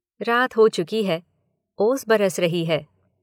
रात हो चुकी है, ओस बरस रही है